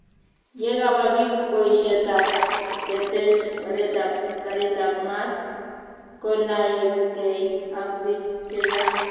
Yekaba bik boishet ab ketech oret ab karit ab maat, konaekei ak bik che chang'